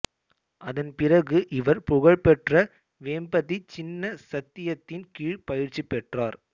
அதன் பிறகு இவர் புகழ்பெற்ற வேம்பதி சின்ன சத்யத்தின் கீழ் பயிற்சி பெற்றார்